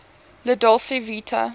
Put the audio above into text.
la dolce vita